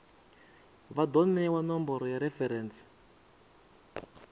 vha do newa nomboro ya referentsi